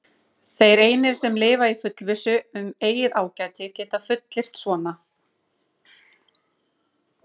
Þeir einir, sem lifa í fullvissu um eigið ágæti, geta fullyrt svona.